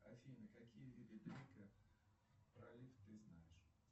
афина какие виды пролив ты знаешь